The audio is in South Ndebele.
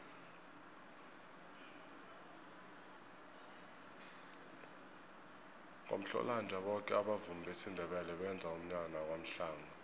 ngomhlolanja boke abavumi besindebele benza umnyanya kwamhlanga